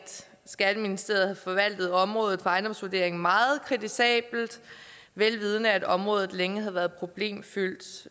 skatteministeriet havde forvaltet området for ejendomsvurdering meget kritisabelt velvidende at området længe havde været problemfyldt